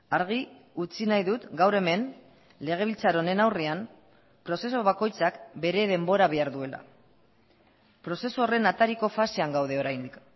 argi utzi nahi dut gaur hemen legebiltzar honen aurrean prozesu bakoitzak bere denbora behar duela prozesu horren atariko fasean gaude oraindik